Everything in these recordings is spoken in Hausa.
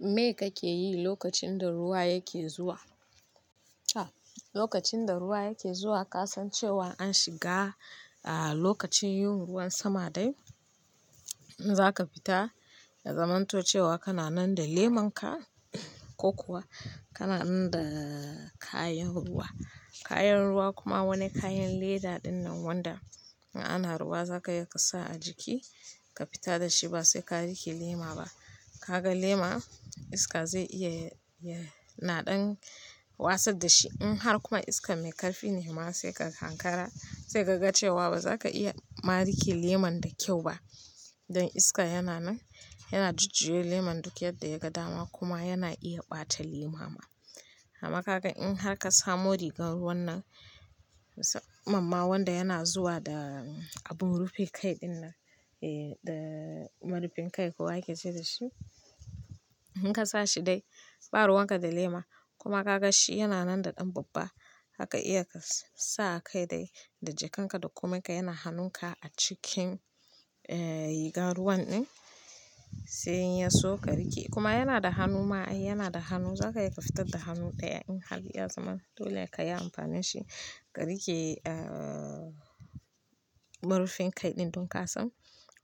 Me kake yi lokacin da ruwa yake zuwa? Lokacin da ruwa yake zuwa, ka san cewa an shiga lokacin yin ruwan sama dai, in zaka fita, ya zamanto cewa kana nan da leman ka ko kuwa kana nan da kayan ruwa. Kayan ruwa kuma wani kayan leda ɗin nan wanda in ana ruwa zaka iya ka sa a jiki ka fita da shi ba sai ka rike lema ba. Ka ga lema iska zai iya yana ɗan wasa da shi. In har kuma iska mai ƙarfi ne ma sai ka hankara sai ka ga cewa ba za ka iya ma rike leman da kyau ba. Don iska yana nan yana jujjuya leman duk yadda ya ga dama kuma yana iya ɓata lema ma. Amma ka ga in har ka samu rigar ruwan nan, musamman ma wanda yana zuwa da abun rufin kai ɗin nan, eh da marufin kai ko ake ce da shi. In ka sa shi dai, ba ruwan ka da lema kuma ka ga shi yana nan da ɗan babba zaka iya ka sa a kai dai da jakanka da koman yana hannunka a cikin, eh rigar ruwan ɗin sai in ya so ka rike. Kuma yana da hannu ma ai yana da hannu zaka iya ka fita da hannu ɗaya in har ya zaman dole ka yi amfani da shi ka rike, eh murfin kai ɗin don ka san.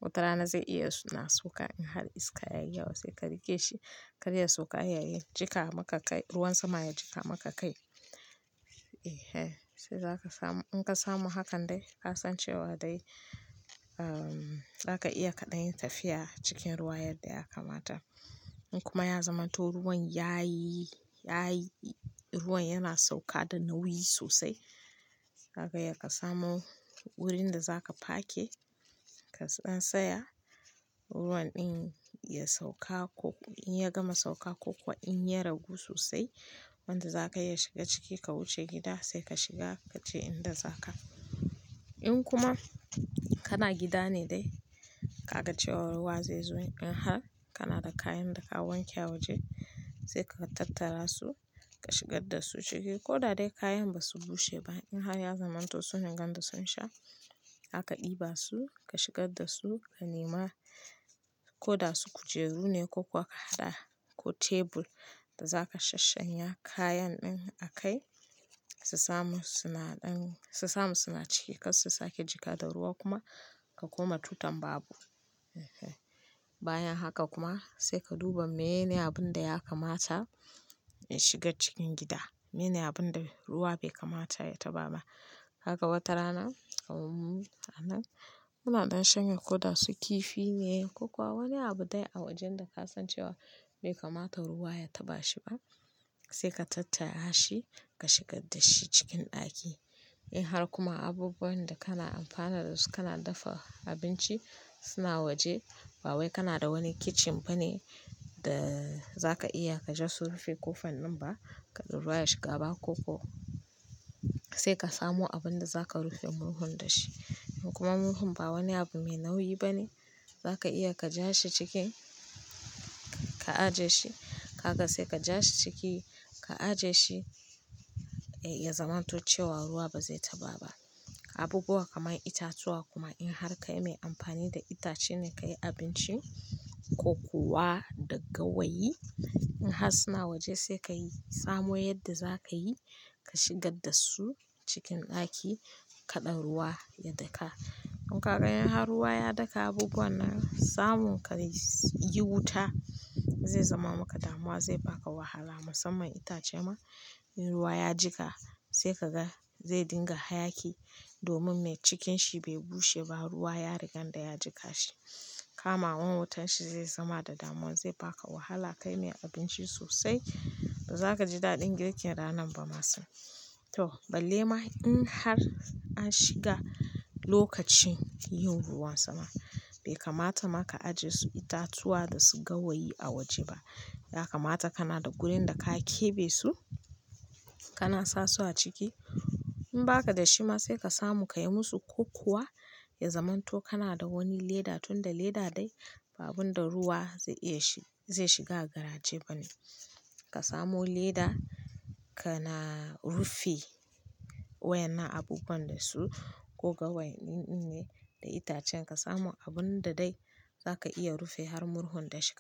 Wata rana zai iya suna sauka in har iska yayi yawa sai ka rike shi. Kar ya sauka yayi jika maka kai, ruwan sama ya jika maka kai. E, eh sai zaka samu. In ka samu hakan dai ka san cewa dai, ehm za ka iya kaɗan yi tafiya cikin ruwa yadda ya kamata. In kuma ya zamanto ruwan yayi, yayi ruwan yana sauka da nauyi sosai. Zaka iya ka samu wurin da za ka parke ka dan tsaya. Ruwan ɗin ya sauka ko in ya gama sauka ko kuwa in ya ragu sosai. Wanda za ka iya shiga ciki ka wuce gida sai ka shiga ka je inda zaka. In kuma kana gida ne dai ka ga cewa ruwa zai zo in har kana da kayan da ka wanke a waje sai ka tattara su ka shigar da su ciki. Ko da dai kayan ba su bushe ba in har ya zamanto sun riga da sun sha zaka ɗiba su ka shigar da su, ka nema ko da su kujeru ne ko kuwa ka hada ko tebur da za ka shashshanya kayan ɗin a kai su samu suna ɗan, su samu suna ciki kar su sake jika da ruwa kuma ka koma tutan babu. E, eh bayan haka kuma sai ka duba meyene abun da ya kamata ya shiga cikin gida. Menene abin da ruwa bai kamata ya taɓa ba. Haka wata rana, awu ranan muna ɗan shanye ko da su kifi ne ko kuwa wani abu dai a wajen da ka san cewa bai kamata ruwa ya taɓa shi ba sai ka tattara shi ka shigar da shi cikin ɗaki. In har kuma abubuwan da kana amfana dasu kana dafa abinci suna waje ba wai kana da wani kitchen ba ne da za ka iya ka je su rufe kofan nan ba kaɗuɓuwa ya shiga ba ko kuwa sai ka samu abin da za ka rufe murhun da shi. In kuma murhun ba wani abu mai nauyi ba ne za ka iya ka ja shi cikin ka aje shi. Haka sai ka ja shi ciki ka aje shi, eh ya zamanto cewa ruwa ba zai taɓa ba. Abubuwa kamar itatuwa kuma in har kai mai amfani da itace ne ka yi abinci ko kuwa da gawayi in har suna waje sai ka yi samu yadda za ka yi ka shigar da su cikin ɗaki kaɗa ruwa ya daka. Don kaga in har ruwa ya daka abubuwan nan samun ka yi wuta zai zama maka damuwa zai ba ka wahala musamman itace ma in ruwa ya jika sai ka ga zai dinga hayaki domin mai cikin shi bai bushe ba ruwa ya rika da ya jika shi. Kama wan wutan shi zai zama da damuwa zai ba ka wahala kai mai abinci sosai ba za ka ji daɗin girkin ranan ba masu. To balle ma in har an shiga lokacin yin ruwan sama bai kamata ma ka ajiye su itatuwa da su gawayi a waje ba. Ya kamata kana da wurin da ka kebe su kana sa su a ciki. In ba ka da shi ma sai ka samu ka yi musu ko kuwa ya zamanto kana da wani leda tunda leda dai ba abin da ruwa zai iya shi zai shiga a garaje ba ne. Ka samu leda kana rufe wayan nan abubuwan dasu ko gawayin ɗin ne da itacen ka samu abun da dai za ka iya rufe har murhun da shi.